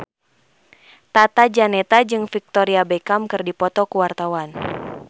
Tata Janeta jeung Victoria Beckham keur dipoto ku wartawan